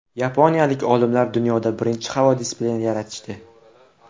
Yaponiyalik olimlar dunyoda birinchi havo displeyini yaratishdi.